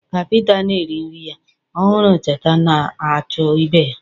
Ka Pita na-eri nri ya, ọ hụrụ cheetah na-achụ ibe ha